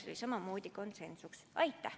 Aitäh!